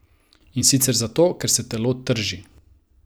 In sicer zato, ker se telo trži.